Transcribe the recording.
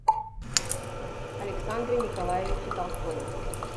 александре николаевиче толстове